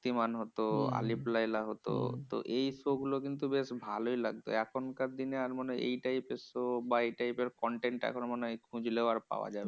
শক্তিমান হতো, আলিফ লায়লা হতো । এই show গুলো কিন্তু বেশ ভালোই লাগতো। এখনকার দিনে আর মনে হয় এই type এর show বা এই type এর content এখন মনে হয় খুঁজলেও আর পাওয়া যাবে না।